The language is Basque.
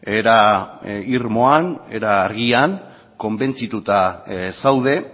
era irmoan era argian konbentzituta zaude